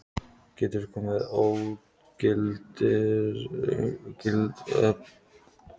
Getur komið til ógildingarmáls ef þessum skilyrðum er ekki fullnægt.